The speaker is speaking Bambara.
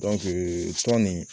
tɔn nin